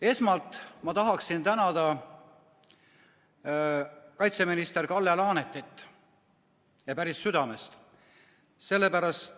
Esmalt ma tahan tänada kaitseminister Kalle Laanetit, ja päris südamest.